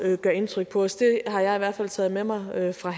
gør indtryk på os det har jeg i hvert fald taget med mig herfra